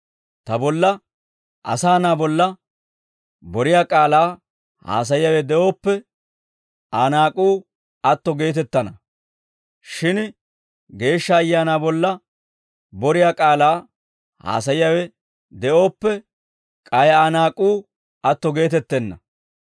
«Ta bolla, asaa na'aa bolla, boriyaa k'aalaa haasayiyaawe de'ooppe Aa naak'uu atto geetettana; shin Geeshsha Ayaanaa bolla boriyaa k'aalaa haasayiyaawe de'ooppe k'ay Aa naak'uu atto geetettenna.